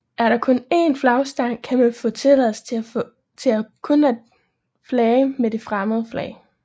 Er der kun én flagstang kan man få tilladelse til kun at flage med det fremmede flag